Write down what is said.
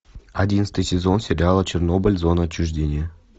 одиннадцатый сезон сериала чернобыль зона отчуждения